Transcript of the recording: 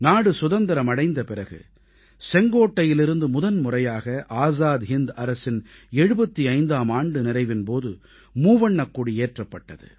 நாடு சுதந்திரம் அடைந்த பிறகு செங்கோட்டையிலிருந்து முதன்முறையாக ஆஸாத் ஹிந்த் அரசின் 75ஆம் ஆண்டு நிறைவின் போது மூவண்ணக்கொடி ஏற்றப்பட்டது